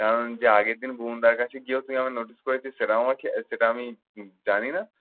কারণ যে আগের দিন ভুবনদার কাছে গিয়েও তুই আমাকে notice করেছিস সেটাও আমাকে সেটা আমি জানি না?